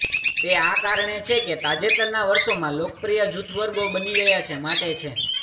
તે આ કારણ છે કે તાજેતરના વર્ષોમાં લોકપ્રિય જૂથ વર્ગો બની ગયા છે માટે છે